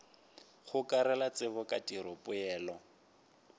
gokarela tsebo ka tiro dipoelo